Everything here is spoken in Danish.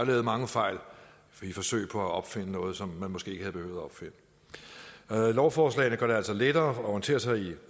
lavet mange fejl i forsøg på at opfinde noget som man måske ikke havde behøvet at opfinde lovforslagene gør det altså lettere at orientere sig i